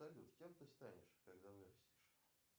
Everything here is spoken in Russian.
салют кем ты станешь когда вырастешь